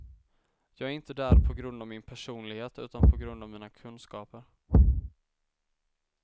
Jag är inte där på grund av min personlighet utan på grund av mina kunskaper.